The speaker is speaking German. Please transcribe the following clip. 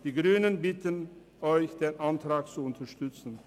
Die Grünen bitten Sie, den Antrag zu unterstützen.